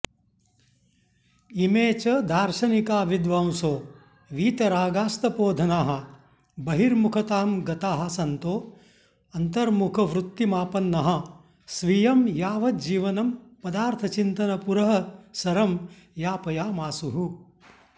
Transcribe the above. इमे च दार्शनिका विद्वांसो वीतरागास्तपोधनाः बहिर्मुखतां गताः सन्तो ऽन्तर्मुखवृत्तिमापन्नाः स्वीयं यांवज्जीवनं पदार्थचिन्तनपुरःसरं यापयामासुः